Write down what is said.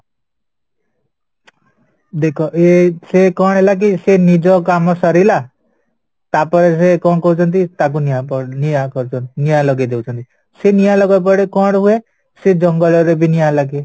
ଦେଖ ଏ ସେ କଣ ହେଲାକି ସେ ନିଜ କାମ ସରିଲା ତାପରେ କଣ କହୁଛନ୍ତି ନିଆଁ ପଡୁ ନିଆଁ କରୁଛନ୍ତି ନିଆଁ ଲଗେଇଦେଉଛନ୍ତି ସେ ନିଆଁ ଲଗେଇବା ଫଳରେ କଣ ହୁଏ ସେ ଜଙ୍ଗଲରେବି ନିଆଁ ଲାଗେ